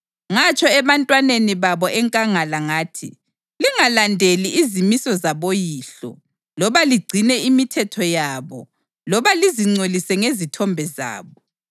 Ngatsho ebantwaneni babo enkangala ngathi, “Lingalandeli izimiso zaboyihlo loba ligcine imithetho yabo loba lizingcolise ngezithombe zabo.